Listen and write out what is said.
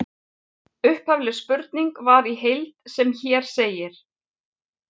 Upphafleg spurning var í heild sem hér segir: